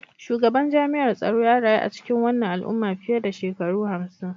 Shugaban jami'ar tsaro ya rayu a cikin wannan al'umma fiye da shekaru hamsin